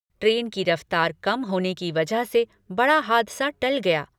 Train की रफ्तार कम होने की वजह से बड़ा हादसा टल गया।